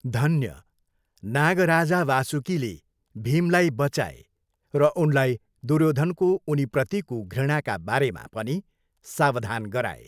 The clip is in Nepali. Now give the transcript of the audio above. धन्य, नागराजा वासुकीले भीमलाई बँचाए र उनलाई दुर्योधनको उनीप्रतिको घृणाका बारेमा पनि सावधान गराए।